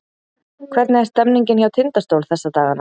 Hvernig er stemningin hjá Tindastól þessa dagana?